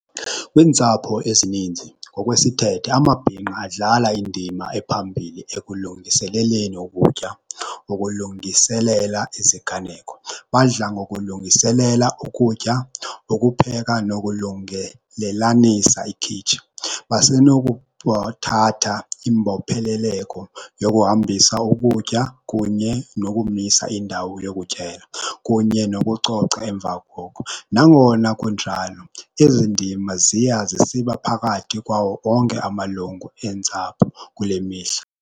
Kwiintsapho ezininzi ngokwesithethe, amabhinqa adlala indima ephambili ekulungiseleleni ukutya, ukulungiselela iziganeko. Badla ngokulungiselela ukutya, ukupheka nokulungelelanisa ikhitshi. Basenokuthatha imbopheleleko yokuhambisa ukutya kunye nokumisa indawo yokutyela kunye nokucoca emva koko. Nangona kunjalo ezi ndima ziya zisiba phakathi kwawo onke amalungu eentsapho kule mihla.